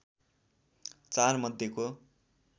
चार मध्येको